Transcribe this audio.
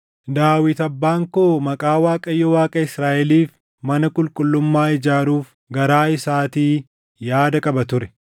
“Daawit abbaan koo Maqaa Waaqayyo Waaqa Israaʼeliif mana qulqullummaa ijaaruuf garaa isaatii yaada qaba ture.